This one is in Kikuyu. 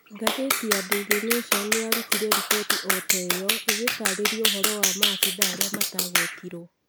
Ngathĩti ya Daily Nation nĩ yarutire riboti o ta ĩyo, ĩgĩtaarĩria ũhoro wa maafithaa arĩa matagwetirwo.